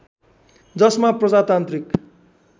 जसमा प्रजातान्त्रिक